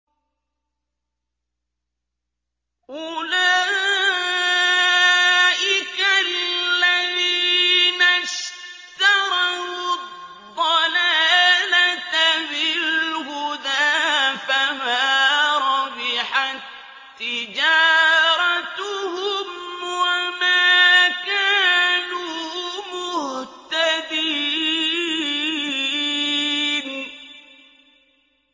أُولَٰئِكَ الَّذِينَ اشْتَرَوُا الضَّلَالَةَ بِالْهُدَىٰ فَمَا رَبِحَت تِّجَارَتُهُمْ وَمَا كَانُوا مُهْتَدِينَ